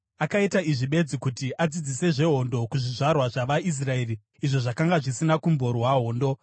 (akaita izvi bedzi kuti adzidzise zvehondo kuzvizvarwa zvavaIsraeri izvo zvakanga zvisina kumborwa hondo):